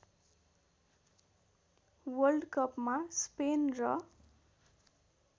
वल्डकपमा Spain र